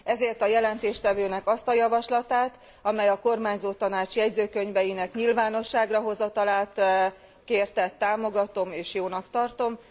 Ezért a jelentéstevőnek azt a javaslatát, amely a kormányzótanács jegyzőkönyveinek nyilvánosságra hozatalát kérte támogatom és jónak tartom.